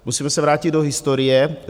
Musíme se vrátit do historie.